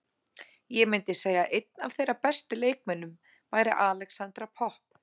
Ég myndi segja að einn af þeirra bestu leikmönnum væri Alexandra Popp.